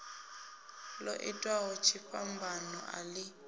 ḓo itaho tshifhambano a ḓi